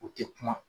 U tɛ kuma